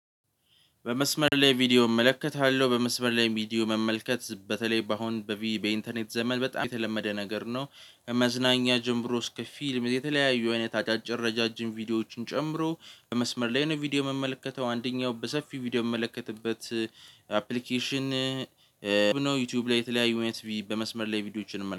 በመስመር ላይ ቪዲዮ እመለከታለው በመስመር ላይ ቪዲዮ መመልከት በተለይ በአሁን በኢንተርኔት ዘመን በጣም የተለመደ ነገር ነው። መዝናኛ ጀምሮ እስከ ፊልም የተለያዩ አይነት አጫጭር ረጃጅም ቪዲዮዎችን ጨምሮ በመስመር ላይ ነው ቪዲዮ ምመለከተው አንደኛው በሰፊው ቪዲዮ ምመለከትበት አፕሊኬሽን ነው ዩቲዩብ ላይ የተለያዩ አይነት በመስመር ላይ ቪዲዮዎችን